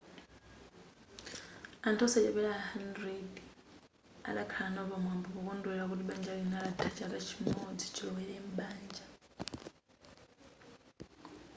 anthu osachepera 100 adakhala nawo pa phwando pokondwelera kuti banja lina latha chaka chimodzi chilowere m'banja